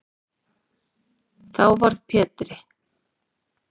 Þá varð Pétri